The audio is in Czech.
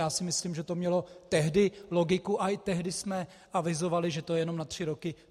Já si myslím, že to mělo tehdy logiku, a tehdy jsme avizovali, že to je jenom na tři roky.